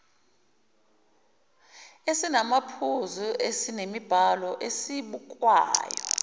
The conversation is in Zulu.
esinamaphuzu esemibhalo esibukwayo